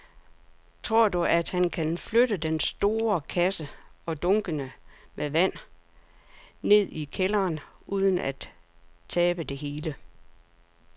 Tror du, at han kan flytte den store kasse og dunkene med vand ned i kælderen uden at tabe det hele?